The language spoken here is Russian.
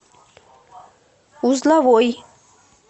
узловой